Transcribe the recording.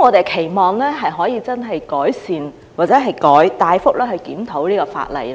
我們期望可以改善或大幅檢討這項法例。